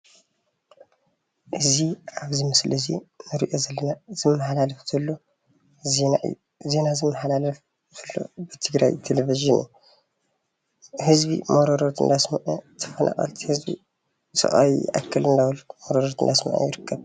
እዚ ኣብ ምስሊ እዙይ እንሪኦ ዘለና ዜና ይመሓላለፍ ዘሎ ዜና ዝመሓላለፍ ዘሎ ብትግራይ ቴሌቭዥን ህዝቢ መርሮቱ እናስመዐ ተፈናቀልቲ መሮሮኦም እናስመዐ እዩ።